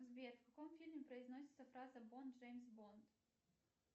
сбер в каком фильме произносится фраза бонд джеймс бонд